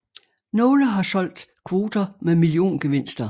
Nogle har solgt kvoter med milliongevinster